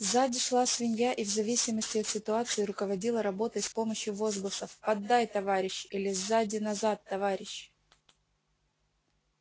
сзади шла свинья и в зависимости от ситуации руководила работой с помощью возгласов поддай товарищ или сзади назад товарищ